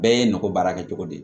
Bɛɛ ye nakɔ baara kɛ cogo di